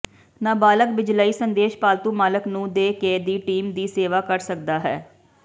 ਨਾਬਾਲਗ ਬਿਜਲਈ ਸੰਦੇਸ਼ ਪਾਲਤੂ ਮਾਲਕ ਨੂੰ ਦੇ ਕੇ ਦੀ ਟੀਮ ਦੀ ਸੇਵਾ ਕਰ ਸਕਦਾ ਹੈ